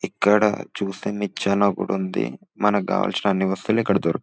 ఇక్కడ చూస్తే నిచ్చెన కూడా ఉంది మనకు కావాల్సిన అన్ని వస్తువులు ఇక్కడ దొరకు --